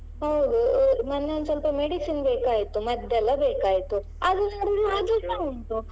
ಹೌದು ಮೊನ್ನೆ ಒಂದ್ ಸ್ವಲ್ಪ medicine ಬೇಕಾಯ್ತು ಮದ್ದೆಲ್ಲಾ ಬೇಕಾಯ್ತು ಅದು ನೋಡಿದ್ರೆ ಅದುಸಾ ಉಂಟು.